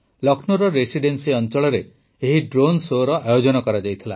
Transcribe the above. ଲକ୍ଷ୍ମୌର Residency ଅଂଚଳରେ ଏହି drone show ଆୟୋଜନ କରାଯାଇଥିଲା